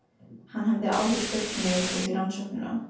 Hann hafði áður spurt mig út í rannsóknina.